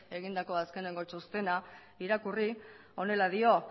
egindako azkeneko txostena irakurri honela dio